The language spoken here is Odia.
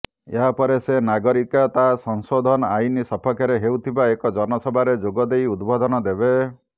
ଏହାପରେ ସେ ନାଗରିକତା ସଂଶୋଧନ ଆଇନ୍ ସପକ୍ଷରେ ହେଉଥିବା ଏକ ଜନସଭାରେ ଯୋଗଦେଇ ଉଦବୋଧନ୍ ଦେବେ